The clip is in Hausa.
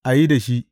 A yi da shi!